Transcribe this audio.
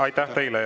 Aitäh teile!